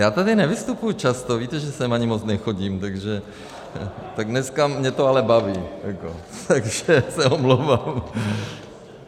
Já tady nevystupuji často, víte, že sem ani moc nechodím, takže - tak dneska mě to ale baví jako, takže se omlouvám.